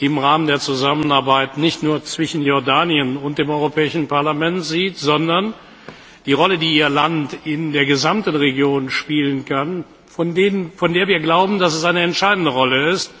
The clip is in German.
im Rahmen der Zusammenarbeit nicht nur zwischen Jordanien und dem Europäischen Parlament sieht, sondern auch in Bezug auf die Rolle, die Ihr Land in der gesamten Region spielen kann und von der wir glauben, dass sie entscheidend ist.